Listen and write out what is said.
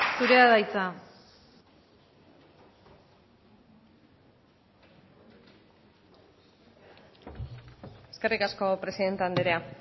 zurea da hitza eskerrik asko presidente anderea